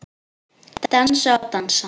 Dansa og dansa.